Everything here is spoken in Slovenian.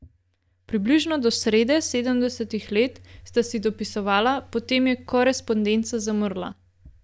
Približno do srede sedemdesetih let sta si dopisovala, potem je korespondenca zamrla.